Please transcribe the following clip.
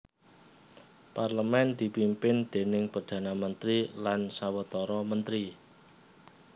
Parlemen dipimpin déning Perdana Mentri lan sawetara mentri